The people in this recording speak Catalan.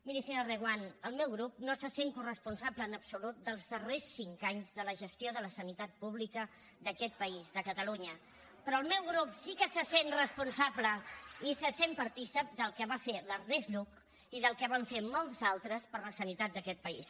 miri senyora reguant el meu grup no se sent coresponsable en absolut dels darrers cinc anys de la gestió de la sanitat pública d’aquest país de catalunya però el meu grup sí que se sent responsable i se sent partícip del que va fer l’ernest lluch i del que van fer molts altres per la sanitat d’aquest país